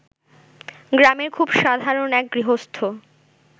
গ্রামের খুব সাধারণ এক গৃহস্থ